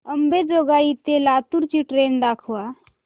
अंबेजोगाई ते लातूर ची ट्रेन दाखवा